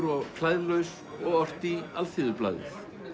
og klæðlaus og orti í Alþýðublaðið